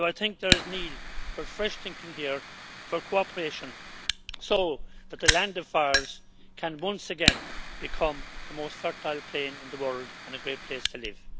it. So I think there is need for fresh thinking and here and for cooperation so that the Land of Fires can once again become the most fertile plain in the world and a great place to live.